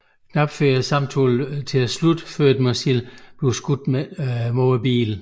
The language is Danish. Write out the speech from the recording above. Knap når samtalen at slutte før et missil bliver skudt mod bilen